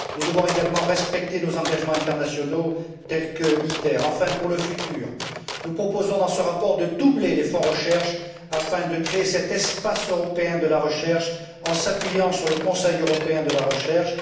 ans. Nous devons également respecter nos engagements internationaux tels que ITER. Enfin, pour le futur, nous proposons dans ce rapport de doubler les fonds recherche afin de créer cet espace européen de la recherche en s'appuyant sur le Conseil européen de la recherche.